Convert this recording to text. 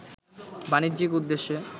বাণিজ্যিক উদ্দেশ্যে